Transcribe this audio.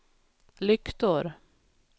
lyktor